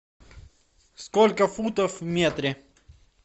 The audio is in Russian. сколько футов в метре